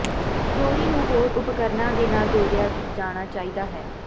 ਚੋਰੀ ਨੂੰ ਹੋਰ ਉਪਕਰਣਾਂ ਦੇ ਨਾਲ ਜੋੜਿਆ ਜਾਣਾ ਚਾਹੀਦਾ ਹੈ